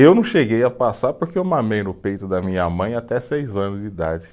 Eu não cheguei a passar porque eu mamei no peito da minha mãe até seis anos de idade.